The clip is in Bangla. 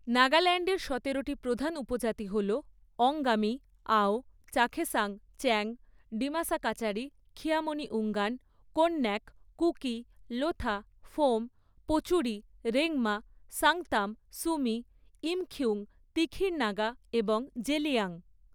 নাগাল্যান্ডের সতেরোটি প্রধান উপজাতি হল অঙ্গামি, আও, চাখেসাং, চ্যাং, ডিমাসা কাচারি, খিয়ামনিউঙ্গান, কোন্যাক, কুকি, লোথা, ফোম, পোচুরি, রেংমা, সাংতাম, সুমি, ইমখিউং, তিখির নাগা এবং জেলিয়াং।